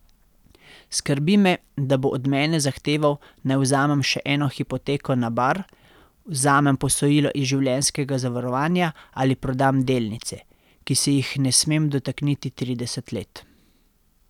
Skrbi me, da bo od mene zahteval, naj vzamem še eno hipoteko na Bar, vzamem posojilo iz življenjskega zavarovanja ali prodam delnice, ki se jih ne smem dotakniti trideset let.